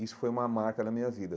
Isso foi uma marca na minha vida.